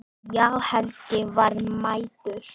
Já, Helgi var mættur.